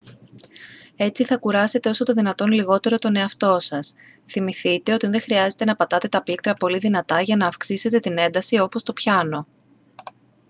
έτσι θα κουράσετε όσο το δυνατόν λιγότερο τον εαυτό σας θυμηθείτε ότι δεν χρειάζεται να πατάτε τα πλήκτρα πολύ δυνατά για να αυξήσετε την ένταση όπως στο πιάνο